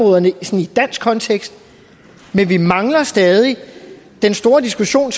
dansk kontekst men vi mangler stadig den store diskussion